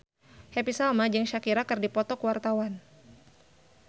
Happy Salma jeung Shakira keur dipoto ku wartawan